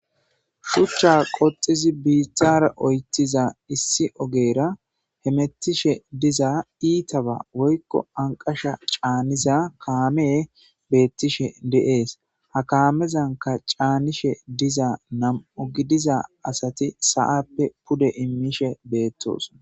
shuchcha qoxizi biithara oytiza issi ogeera hemettishe diza iitaba woykko anqasha caaniza kaame beettishe de7es ha kaamezanka caanishe diza nam7u gidiza asati sa7appe pude immishe beettoson